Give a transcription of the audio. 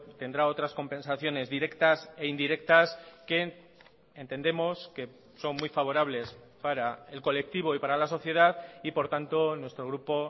tendrá otras compensaciones directas e indirectas que entendemos que son muy favorables para el colectivo y para la sociedad y por tanto nuestro grupo